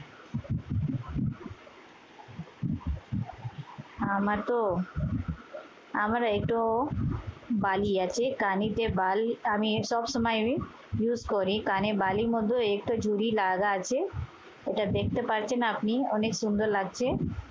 আমার তো আমার একটু বালি আছে কানে যে বালি আমি সবসময়ই use করি কানে বালির মতো একটা জুড়ি লাগা আছে। এটা দেখতে পারছেন আপনি অনেক সুন্দর লাগছে।